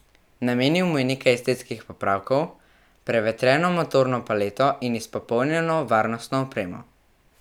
Namenil mu je nekaj estetskih popravkov, prevetreno motorno paleto in izpopolnjeno varnostno opremo.